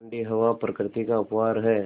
ठण्डी हवा प्रकृति का उपहार है